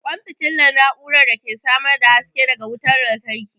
ƙwan fitila na'urar da ke samar da haske daga wutar lantarki.